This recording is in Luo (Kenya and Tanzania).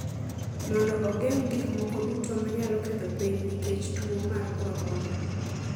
mondo ogeng’ gik moko duto ma nyalo ketho piny nikech tuo mar korona.